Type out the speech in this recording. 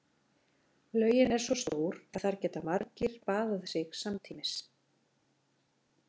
Laugin er svo stór að þar geta margir baðað sig samtímis.